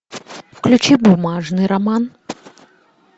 включи бумажный роман